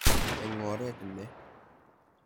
Eng' oret ne?